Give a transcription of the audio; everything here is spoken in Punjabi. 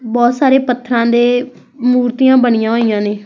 ਬਹੁਤ ਸਾਰੇ ਪੱਥਰਾਂ ਦੀ ਮੂਰਤੀ ਬਣੀਆਂ ਹੋਈਆਂ ਨੇ --